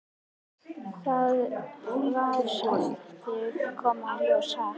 Það verður bara að koma í ljós, ha?